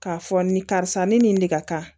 K'a fɔ nin karisa ni nin de ka kan